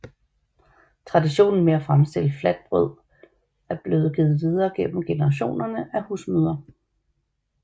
Traditionen med at fremstille flatbrød er blevet givet videre gennem generationerne af husmødre